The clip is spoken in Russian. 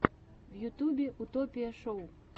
в ютюбе утопия шоу